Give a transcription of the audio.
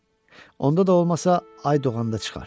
Onda da olmasa ay doğanda çıxar.